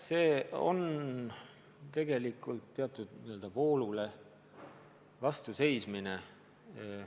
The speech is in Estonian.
See on tegelikult teatud voolule vastuseismine.